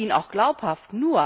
Das schien auch glaubhaft.